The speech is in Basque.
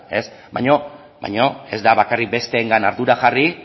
baina ez da bakarrik besteengan ardura jarri